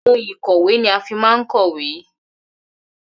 Ohun ìkọ̀wé ni á má ń fi n kọ́wé